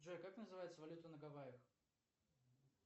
джой как называется валюта на гаваях